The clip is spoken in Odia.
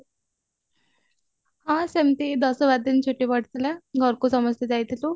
ହଁ ସେମଟି ଦଶ ବାର ଦିନ ଛୁଟି ପଡିଥିଲା ଘରକୁ ସମସ୍ତେ ଯାଇଥିଲୁ